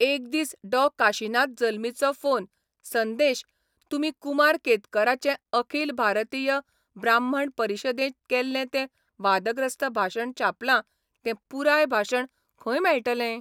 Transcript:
एक दीस डॉ काशिनाथ जल्मीचो फोन संदेश, तुमी कुमार केतकराचें अखिल भारतीय ब्राह्मण परिशदेंत केल्लें तें वादग्रस्त भाशण छापलां तें पुराय भाशण खंय मेळटलें?